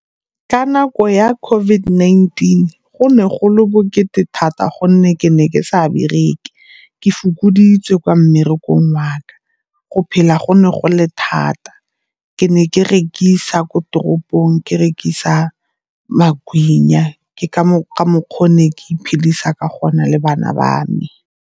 Ka nako ya COVID-19 go ne go le bokete thata gonne ke ne ke sa bereke, ke fokoditswe kwa mmerekong wa ka. Go phela go ne go le thata, ke ne ke rekisa ko toropong ke rekisa magwinya, ke ka mokgwa o be ke iphedisa ka gona le bana ba me.